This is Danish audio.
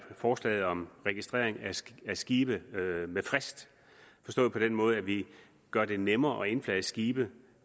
forslaget om registrering af skibe skibe med frist forstået på den måde at vi gør det nemmere at indflage skibe